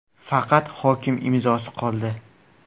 Faqat hokim imzosi qoldi.